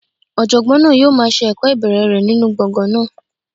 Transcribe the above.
Ọ̀jọ̀gbọ́n náà yóò máa se ẹ̀kọ́ ìbẹ̀rẹ̀ rẹ̀ nínú gbọ̀ngàn náà.